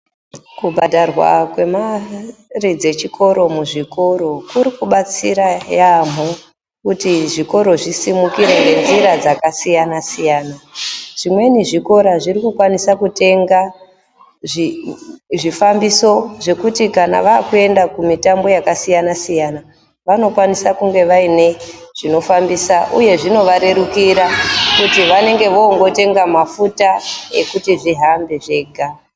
Kubhadharwa kwemari muzvikoro kuribatsira yamho kuti zvikoro zvisimukire nenzira dzakasiyana siyana zvimweni zvikora zvirikukwanisa kutenga zvifambiso zvekuti kana vakuenda kumitambo yakasiyana siyana vanokwanisa kunge vaine chinofambisa uye zvinovarerukira kuti vanenge vongotemga mafuta kuti zvihambe zvega.